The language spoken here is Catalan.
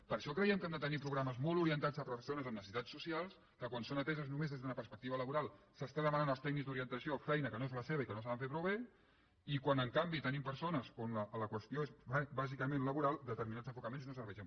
per això creiem que hem de tenir programes molt orientats a persones amb necessitats socials que quan són ateses només des d’una perspectiva laboral s’està demanant als tècnics d’orientació feina que no és la seva i que no saben fer prou bé i quan en canvi tenim persones on la qüestió és bàsicament laboral determinats enfocaments no serveixen